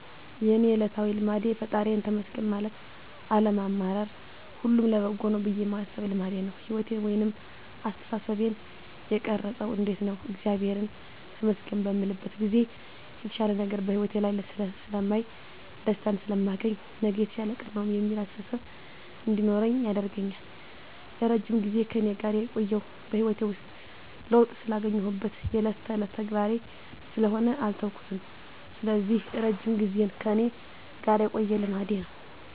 የእኔ እለታዊ ልማዴ ፈጣሪየን ተመስገን ማለት አለማማረር ሁሉም ለበጎ ነው ብየ ማሰብ ልማዴ ነው። ህይወቴን ወይንም አስተሳሰቤን የቀረፀው እንዴት ነው እግዚአብሔርን ተመስገን በምልበት ጊዜ የተሻለ ነገር በህይወቴ ላይ ስለማይ፣ ደስታን ስለማገኝ፣ ነገ የተሻለ ቀን ነው የሚል አስተሳሰብ እንዲኖረኝ ያደርጋል። ለረጅም ጊዜ ከእኔ ጋር የቆየው በህይወቴ ውስጥ ለውጥ ስላገኘሁበት የእለት ተእለት ተግባሬ ስለሆነ አልተውኩትም ስለዚህ እረጅም ጊዜን ከእኔ ጋር የቆየ ልማዴ ነው።